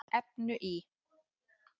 efnu í